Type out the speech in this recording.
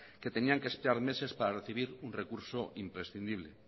que tenían que esperar meses para recibir un recurso imprescindible